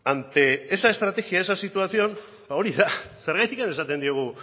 ante esa estrategia esa situación ba hori da zergatik esaten diogu